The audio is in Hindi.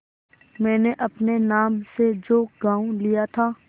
मैंने अपने नाम से जो गॉँव लिया था